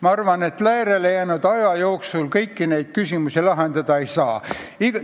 Ma arvan, et meie jaoks järele jäänud aja jooksul kõiki neid küsimusi lahendada ei saa.